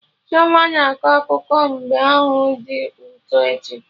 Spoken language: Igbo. Chioma na-akọ akụkọ mbe ahụ dị ụtọ echi